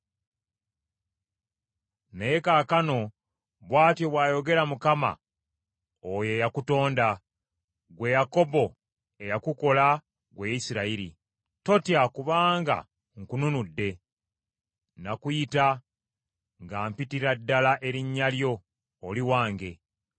Naye kaakano bw’atyo bw’ayogera Mukama oyo eyakutonda, ggwe Yakobo, eyakukola ggwe Isirayiri: “Totya kubanga nkununudde, nakuyita nga mpitira ddala erinnya lyo, oli wange.